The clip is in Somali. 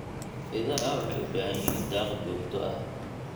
Idaha waxay u baahan yihiin daaq joogto ah.